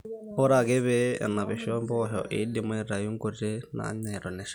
ore ake pee enapisho impoosho eidimi aaitau inkuti naanyai eton eshal